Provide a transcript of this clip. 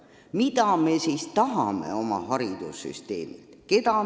Mida me siis oma haridussüsteemilt tahame?